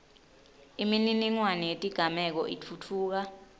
imininingwane yetigameko itfutfuka